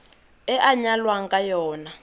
e a nyalwang ka yona